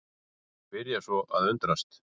Byrja svo að undrast.